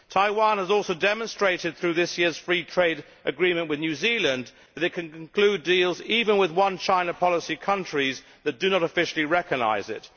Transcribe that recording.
Taiwan has also demonstrated though this year's free trade agreement with New Zealand that it can conclude deals even with One China policy countries that do not officially recognise it.